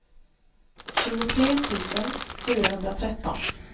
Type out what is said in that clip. tjugotre tusen fyrahundratretton